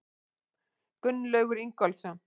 Gunnlaugur Ingólfsson.